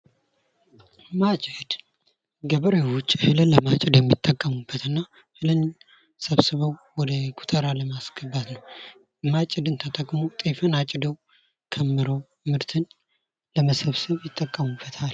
ማጨት ገበሬዎች እህልን ለማጨድ የሚጠቀሙበት እና እህልን ሰብስበው ወደ ጎተራ ለማስገባት ማጭድን ተጠቅሞ ጤፍን አጭደደው ከምረው ምርትን ለመሰብሰብ ይጠቀሙበታል።